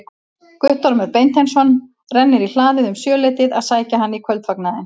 Guttormur Beinteinsson rennir í hlaðið um sjöleytið að sækja hann í kvöldfagnaðinn.